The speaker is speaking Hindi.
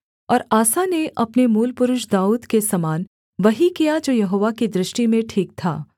और आसा ने अपने मूलपुरुष दाऊद के समान वही किया जो यहोवा की दृष्टि में ठीक था